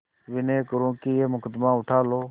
विनय करुँ कि यह मुकदमा उठा लो